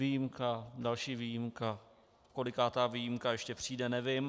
Výjimka, další výjimka, kolikátá výjimka ještě přijde, nevím.